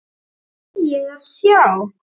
Hvað á ég að sjá?